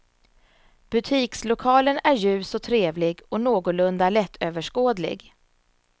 Butikslokalen är ljus och trevlig och någorlunda lättöverskådlig.